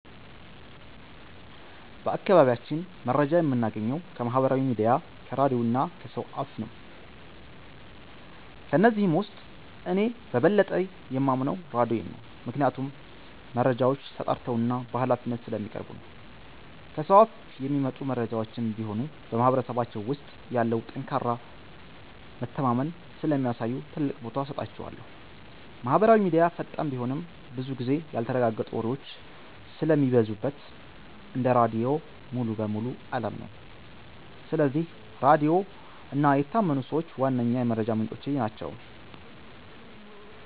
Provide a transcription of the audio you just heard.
በአካባቢያችን መረጃ የምናገኘው ከማህበራዊ ሚዲያ፣ ከራድዮ እና ከሰው አፍ ነው። ከነዚህም ውስጥ እኔ በበለጠ የማምነው ራድዮን ነው፤ ምክንያቱም መረጃዎች ተጣርተውና በሃላፊነት ስለሚቀርቡ ነው። ከሰው አፍ የሚመጡ መረጃዎችም ቢሆኑ በማህበረሰባችን ውስጥ ያለውን ጠንካራ መተማመን ስለሚያሳዩ ትልቅ ቦታ እሰጣቸዋለሁ። ማህበራዊ ሚዲያ ፈጣን ቢሆንም፣ ብዙ ጊዜ ያልተረጋገጡ ወሬዎች ስለሚበዙበት እንደ ራድዮ ሙሉ በሙሉ አላምነውም። ስለዚህ ራድዮ እና የታመኑ ሰዎች ዋነኛ የመረጃ ምንጮቼ ናቸው።